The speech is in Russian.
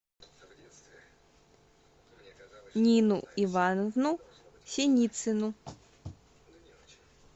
нину ивановну синицыну